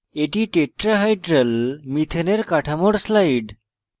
এটি tetrahedral methane কাঠামোর slide